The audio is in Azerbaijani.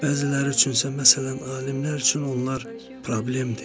Bəziləri üçünsə, məsələn, alimlər üçün onlar problemdir.